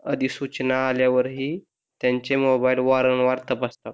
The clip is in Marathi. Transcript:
आणि सूचना आल्यावर हि त्यांचे मोबाइल वारंवार तपासतात,